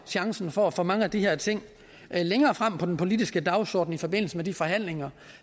chancen for at få mange af de her ting længere frem på den politiske dagsorden i forbindelse med de forhandlinger